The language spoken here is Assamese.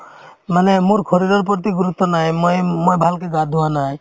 মানে মোৰ শৰীৰৰ প্ৰতি গুৰুত্ৱ নাই মই ~ মই ভালকে গা ধোৱা নাই